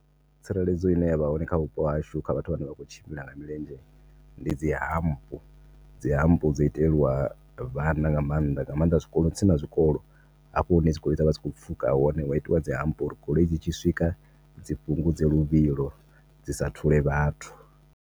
Tsireledzo ine yavha hone kha vhupo hashu kha vhathu vhane vha kho tshimbila nga milenzhe ndi dzi hump dzi hump dzo itelwa vhana nga maanḓa nga maanḓa zwikolo tsini na zwikolo hafho hune dzi goloi dzavha dzi kho pfuka hone hu a itiwa dzi hump uri goloi dzitshi swika dzi fhungudze luvhilo, dzi sa thule vhathu.